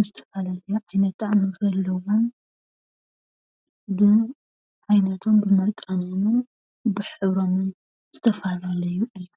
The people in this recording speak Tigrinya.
ብዝተፈላለዩ ዓይነት ጣዕሚ ዘለዎን ብዓይነቱ ፣ጣዕሞምን ብሕብሮምን ዝተፈላለዩ እዮም፡፡